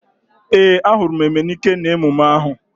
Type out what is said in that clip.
Ee, a hụrụ m Emenike n'emume ahu